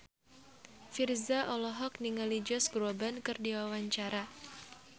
Virzha olohok ningali Josh Groban keur diwawancara